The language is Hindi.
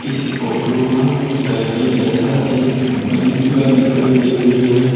इस फोटो में कुछ कैफे जैसा एक बनी जो है दिखाई दे रही है।